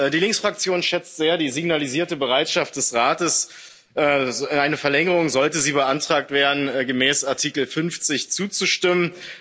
Die Linksfraktion schätzt sehr die signalisierte Bereitschaft des Rates, einer Verlängerung sollte sie beantragt werden gemäß Artikel 50 zuzustimmen.